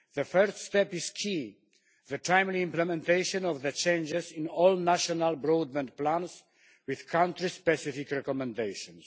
The first step is key. The timely implementation of the changes in all national broadband plans with country specific recommendations.